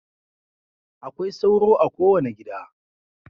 Akwai sauro a kowane gida.